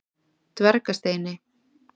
Dvergasteini